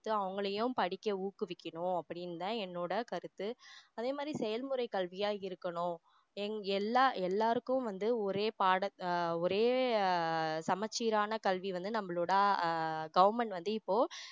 அவங்களையும் படிக்க ஊக்குவிக்கணும் அப்படின்னு தான் என்னோட கருத்து அதே மாதிரி செயல்முறை கல்வியா இருக்கணும் எங்க எல்லா எல்லாருக்கும் வந்து ஒரே பாடம் ஆஹ் ஒரே ஆஹ் சமச்சீரான கல்வி வந்து நம்மளோட ஆஹ் government வந்து இப்போ